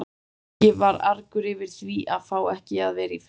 Nikki var argur yfir því að fá ekki að vera í friði.